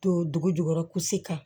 To dugu jukɔrɔ kan